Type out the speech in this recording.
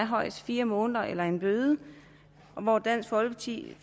højst fire måneder eller en bøde og dansk folkeparti